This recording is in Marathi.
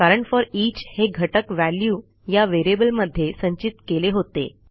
कारण फोरिच हे घटक व्हॅल्यू या व्हेरिएबल मध्ये संचित केले होते